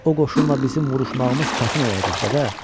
O qoşunla bizim vuruşmağımız çətin olacaq, dədə.